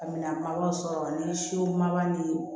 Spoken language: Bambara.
Minɛn ma baw sɔrɔ ni siw ma ni